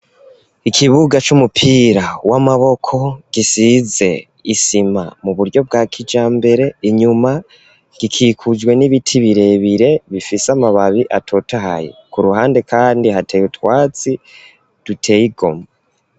Ikibuga, c'umupira w'amaboko, gisize isima, mu buryo bwa kijambere; inyuma, gikikujwe, n'ibiti birebire, bifise amababi, atotahaye; ku ruhande kandi, hateye utwatsi, duteye igomwe.